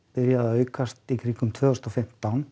byrjaði að aukast tvö þúsund og fimmtán